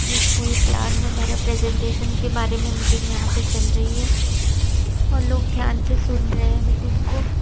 ये कोई प्लान वगैरह प्रेजेंटेशन के बारे में मीटिंग यहाँ पे चल रही है और लोग ध्यान से सुन रहे हैं मीटिंग को --